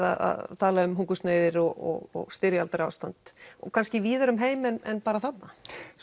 að tala um hungursneyðir og styrjaldar ástand og kannski víðar um heim en bara þarna